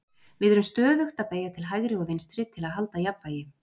Við erum stöðugt að beygja til hægri og vinstri til að halda jafnvægi.